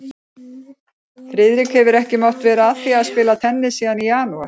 Friðrik hefur ekki mátt vera að því að spila tennis síðan í janúar